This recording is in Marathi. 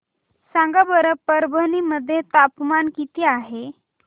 सांगा बरं परभणी मध्ये तापमान किती आहे